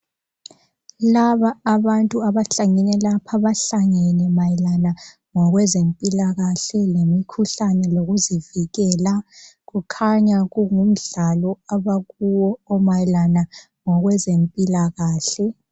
Laba abantu abahlangene lapha, bahlangene mayelana ngokwezempilakahle lemikhuhlane lokuzivikela, kukhanya kungumdlalo abakuwo omayelana ngokwe zempilakahle.